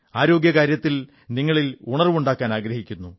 ആരോഗ്യകാര്യത്തിൽ നിങ്ങളിൽ ഉണർവ്വുണ്ടാക്കാനാഗ്രഹിക്കുന്നു